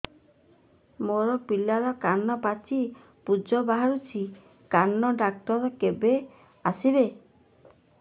ମୋ ପିଲାର କାନ ପାଚି ପୂଜ ବାହାରୁଚି କାନ ଡକ୍ଟର କେବେ ଆସିବେ